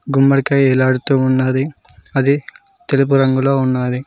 గుమ్మడికాయ వేలాడుతూ ఉన్నాది అది తెలుపు రంగులో ఉన్నాది.